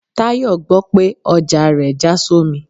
Tayo gbò pe ọja rẹ ja sọmí